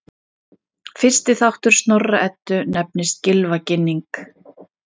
Fyrsti þáttur Snorra-Eddu nefnist Gylfaginning.